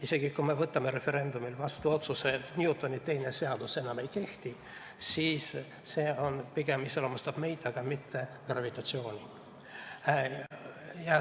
Isegi kui me võtame referendumil vastu otsuse, et Newtoni teine seadus enam ei kehti, siis iseloomustab see pigem meid, aga mitte gravitatsiooni.